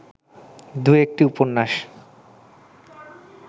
দু’একটি উপন্যাস